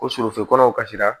Ko surɔfe kɔnɔ kasira